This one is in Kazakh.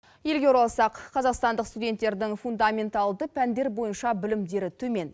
елге оралсақ қазақстандық студенттердің фундаменталды пәндер бойынша білімдері төмен